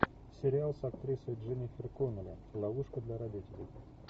сериал с актрисой дженнифер коннелли ловушка для родителей